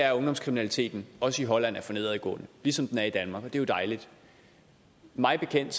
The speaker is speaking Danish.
at ungdomskriminaliteten også i holland er for nedadgående ligesom den er i danmark er jo dejligt mig bekendt